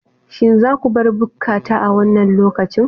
Shin za ku bar bukkata a wannan lokacin!